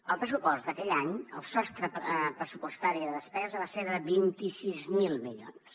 el pressupost d’aquell any el sostre pressupostari de despesa va ser de vint sis mil milions